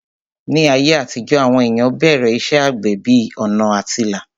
Ní ayé àtijó, àwọn èèyàn bẹ̀rẹ̀ iṣẹ́ àgbẹ̀ bí ọ̀nà àtilà